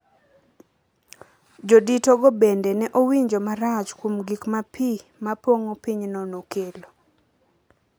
Jodito go bende ne owinjo marach kuom gik ma pi ma pong’o pinyno nokelo